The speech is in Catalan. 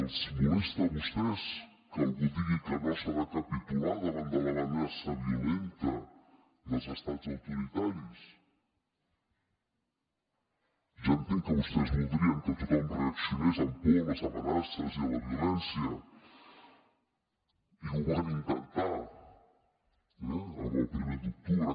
els molesta a vostès que algú digui que no s’ha de capitular davant de l’amenaça violenta dels estats autoritaris ja entenc que vostès voldrien que tothom reaccionés amb por a les amenaces i a la violència i ho van intentar el primer d’octubre